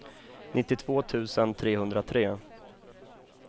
nittiotvå tusen trehundratre